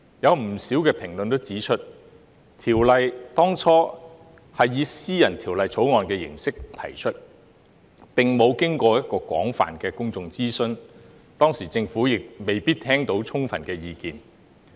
有不少評論指出，《條例》當初以私人條例草案形式提出，並沒有經過廣泛的公眾諮詢，當時政府亦未必聽到充分的意見。